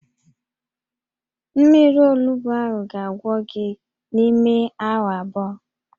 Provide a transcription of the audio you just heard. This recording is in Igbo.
Mmiri olugbu ahụ ga-agwọ gị n'ime awa abụọ